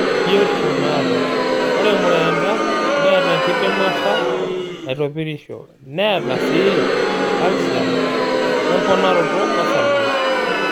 Biotisho naata. Ore mureenta neaata enkidimata naitopirisho, neata sii calsium wemponaroto orsarge.